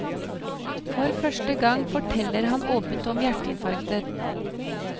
For første gang forteller han åpent om hjerteinfarktet.